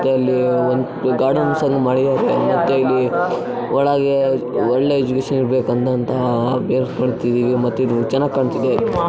ಇಲ್ಲಿ ಒಂದು ಗಾರ್ಡನ್ಸ್ ಎಲ್ಲ ಮಾಡಿದ್ದಾರೆ ಮತ್ತೆ ಇಲ್ಲಿ ಒಳಗೆ ಒಳ್ಳೆ ಎಕ್ಸಿಬಿಷನ್ ಇರಬೇಕಂಟಹ ವೈಟ್ ಮಾಡ್ತಿದೀವಿ ಮತ್ತು ಇದು ಚೆನ್ನಾಗಿ ಕಾಂತಿದೆ.